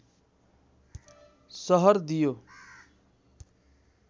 सहर दियो